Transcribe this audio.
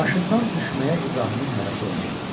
Maşından düşməyə İbrahimin həvəsi olmadı.